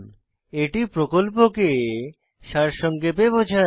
এটি প্রকল্পকে সারসংক্ষেপে বোঝায়